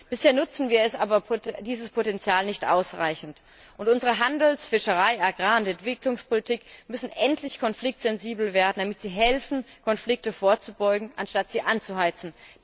Bisher nutzen wir aber dieses Potenzial nicht ausreichend, und unsere Handels Fischerei Agrar und Entwicklungspolitik müssen endlich konfliktsensibel werden, damit sie helfen, Konflikten vorzubeugen anstatt sie anzuheizen.